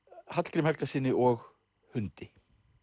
Hallgrími Helgasyni og hundi